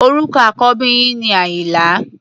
Orúkọ àkọ́bí yín ni Àyìnlá.